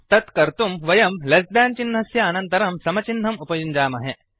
तत् कर्तुं वयं लेस् देन् चिह्नस्य अनन्तरं समचिह्नम् उपयुञ्जामहे